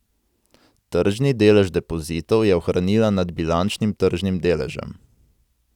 Tržni delež depozitov je ohranila nad bilančnim tržnim deležem.